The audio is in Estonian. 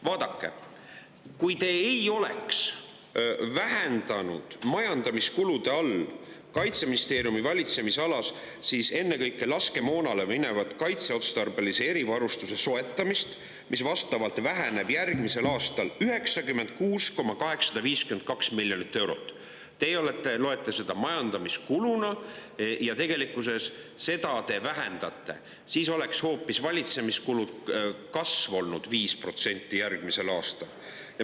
Vaadake, kui te ei oleks vähendanud Kaitseministeeriumi valitsemisalas majandamiskulude all ennekõike laskemoonale minevat kaitseotstarbelise erivarustuse soetamise summat järgmisel aastal 96,852 miljonit eurot – teie loete seda majandamiskuluks ja vähendate seda –, siis oleks valitsemiskulud järgmisel aastal hoopis kasvanud 5%.